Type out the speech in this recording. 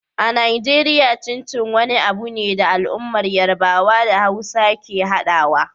A Najeriya, Chin Chin wani abu ne da al'ummar Yarbawa da Hausawa ke haɗawa.